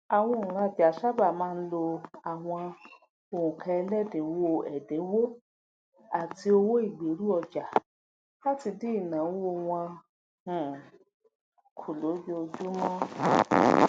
àwọn onrajà sáabà máa ń lo àwọn onkaẹlẹdininwo ẹdinwo àti owó ìgberuọja láti dín ìnáwó wọn um kù lójoojúmó